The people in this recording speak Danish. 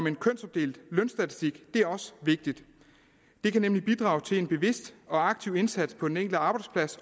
en kønsopdelt lønstatistik er også vigtigt det kan nemlig bidrage til en bevidst og aktiv indsats på den enkelte arbejdsplads